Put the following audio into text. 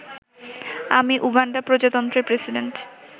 আমি উগান্ডা প্রজাতন্ত্রের প্রেসিডেন্ট